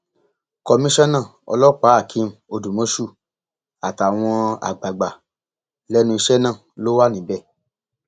komisanna ọlọpàáhakeem odúmọṣù àtàwọn àgbàgbà lẹnu iṣẹ náà ló wà níbẹ